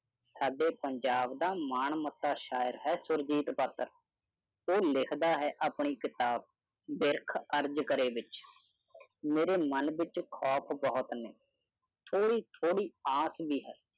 ਐਸੋ ਪੰਜਾਬ ਦਾ ਮਾਣ ਮੱਤਾ ਸ਼ਾਇਰ ਸੁਰਜੀਤ ਪਾਤਰਕੀ ਲਾਚਾਰ ਕਰਾਂ ਮੈਂ ਆਪਣੀ ਕਿਤਾਬਗੁਰੂ ਨਾਨਕ ਪਾਤਸ਼ਾਹ ਨੇਤਾਂ ਉਸ ਪ੍ਰਭੂ ਆਪ ਹੀ ਹੈ